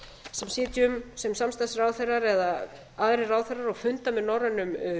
sem sitjum sem samstarfsráðherrar eða aðrir ráðherrar og funda með norrænum